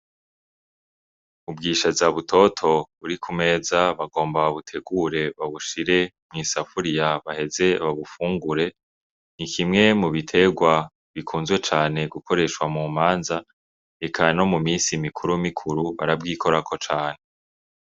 Ubwishaza butoto buri ku meza bagomba babutegure babushire mw'isafuriya baheze babufungure. Ni kimwe mu biterwa bikunzwe cane gukoreshwa mu manza eka no mu misi mikuru mikuru barabwikorako cane.